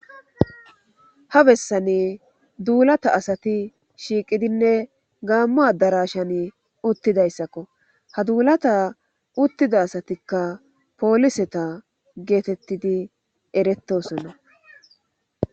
Ha bessani duulata asati shiiqidinne gaammu adarashan uttidayssakko ha duulata uttida asatikka pooliseta geetettidi erettosonna.